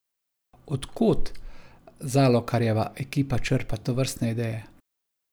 Od kod Zalokarjeva ekipa črpa tovrstne ideje?